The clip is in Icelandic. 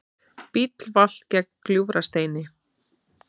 Bíll valt gegnt Gljúfrasteini